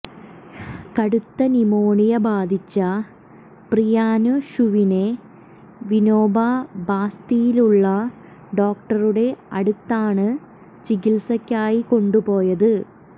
കടുത്ത ന്യുമോണിയ ബാധിച്ച പ്രിയാന്ഷുവിനെ വിനോബ ബാസ്തിയിലുള്ള ഡോക്ടറുടെ അടുത്താണ് ചികിത്സക്കായി കൊണ്ടുപോയത്